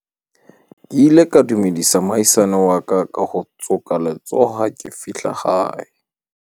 ke ile ka dumedisa moahisani wa ka ka ho tsoka letsoho ha ke fihla hae